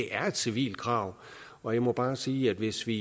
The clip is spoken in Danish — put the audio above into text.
er et civilt krav og jeg må bare sige at hvis vi